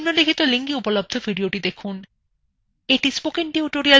এটি কথ্য tutorial প্রকল্পকে সারসংক্ষেপে বোঝায়